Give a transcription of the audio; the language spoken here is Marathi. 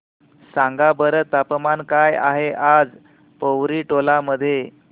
सांगा बरं तापमान काय आहे आज पोवरी टोला मध्ये